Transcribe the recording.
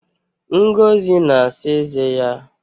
Ngozi na-asa eze ya